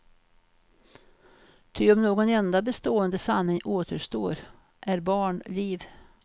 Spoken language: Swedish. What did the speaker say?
Ty om någon enda bestående sanning återstår, är barn liv.